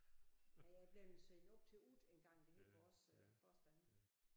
Nej jeg er bleven sendt op til Ut engang det hed vores øh forstander